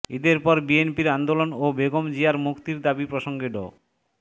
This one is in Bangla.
ঈদের পর বিএনপির আন্দোলন ও বেগম জিয়ার মুক্তির দাবি প্রসঙ্গে ড